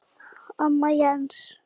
Amma Jens.